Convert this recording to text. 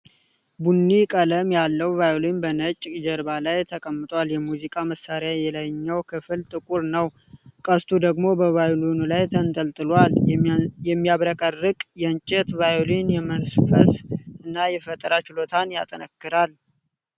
ቡኒ ቀለም ያለው ቫዮሊን በነጭ ጀርባ ላይ ተቀምጧል። የሙዚቃ መሣሪያው የላይኛው ክፍል ጥቁር ነው፡፡ ቀስቱ ደግሞ በቫዮሊኑ ላይ ተንጠልጥሏል። የሚያብረቀርቅ የእንጨት ቫዮሊን የመንፈስና የፈጠራን ችሎታን ያጠነክራል፡፡